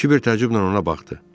Kibir təəccüblə ona baxdı.